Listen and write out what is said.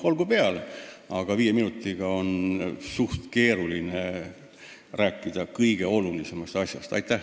Olgu peale, aga viie minutiga on suhteliselt keeruline kõige olulisemast asjast rääkida.